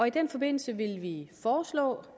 i den forbindelse vil vi foreslå